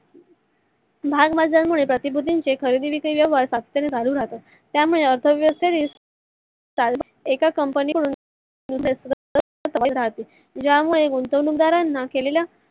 भागबाजरा मध्ये प्रतिकृती चि खरेदी विक्री व्यवहार सतत पने चालू राहतात. त्यामुळे अर्थव्यवस्था ही एका company तून ज्यामुळे गुंतवणूक दारांना केलेल्या